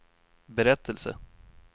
berättelse